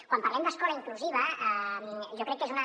quan parlem d’escola inclusiva jo crec que és una